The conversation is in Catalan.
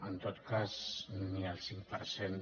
en tot cas ni el cinc per cent